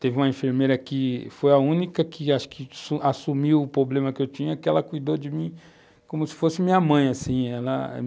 Teve uma enfermeira que foi a única que que assumiu o problema que eu tinha, que cuidou de mim como se fosse minha mãe assim, ela,